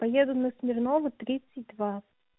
поеду на смирнова тридцать два